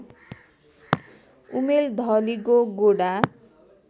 उमेर ढलिगो गोडा